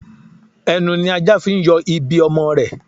Ẹnu ni ajá fi ń yọ ibi ọmọ rẹ̀